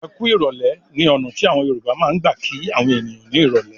"Ẹ kú ìrọ́lẹ́" ní ọ̀nà tí àwọn Yorùbá máa ń gbà kí àwọn ènìyàn ní ìrọ́lẹ́.